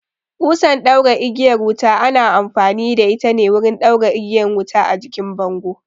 Ƙusan ɗaura igiyar wuta ana amfani da ita ne wurin ɗaura igiyan wuta a jikin bango